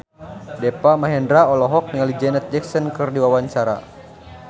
Deva Mahendra olohok ningali Janet Jackson keur diwawancara